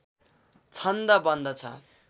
छन्द बन्दछ